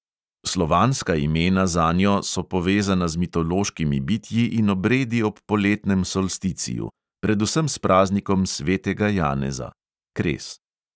Slovanska imena zanjo so povezana z mitološkimi bitji in obredi ob poletnem solsticiju, predvsem s praznikom svetega janeza